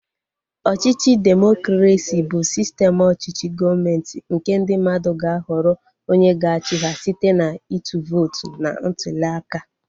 Ọchịchị demokresi bụ sistem ọchịchị gọọmenti nke ndị mmadụ ga-ahọrọ onye ga-achị ha site na ịtụ vootu na ntuliaka